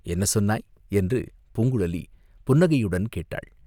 "என்ன சொன்னாய்?" என்று பூங்குழலி புன்னகையுடன் கேட்டாள்.